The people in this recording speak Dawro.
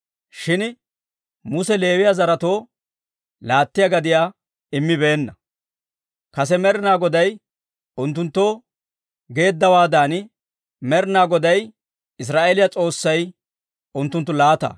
Shin Muse Leewiyaa zaretoo laattiyaa gadiyaa immibeenna; kase Med'ina Goday unttunttoo geeddawaadan, Med'ina Goday Israa'eeliyaa S'oossay unttunttu laata.